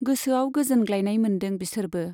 गोसोआव गोजोनग्लायनाय मोनदों बिसोरबो।